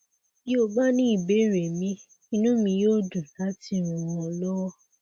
bí o bá ní ìbéèrè míì inú mi yóò dùn láti ràn ọ lọwọ